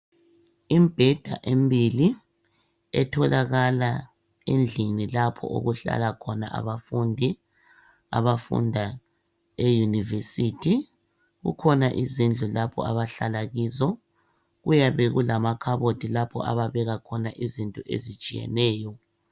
Imibheda emibili etholakala endlini lapho okuhlala khona abafundi abafunda eyunivesithi kukhona izindlu lapha abahlala kizo kuyabe kulamakhabothi lapha ababeka khona izinto ezitshiyeneyo.